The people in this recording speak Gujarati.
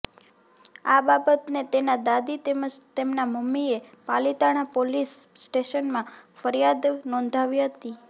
આ બાબતે તેના દાદી તેમજ તેમના મમ્મીએ પાલીતાણા પોલીસ સ્ટેશનમાં ફરિયાદ નોંધાવી હતી